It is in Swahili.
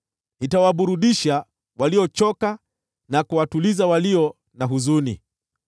Nitawaburudisha waliochoka na kuwatuliza walio na huzuni.”